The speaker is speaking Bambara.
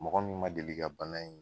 Mɔgɔ min ma deli ka bana in